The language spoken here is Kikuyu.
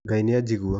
Ngai nĩajingua